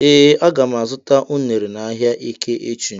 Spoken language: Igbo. Ee aga m azụta unere n'ahia eke echi.